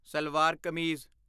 salwar kameez